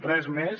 res més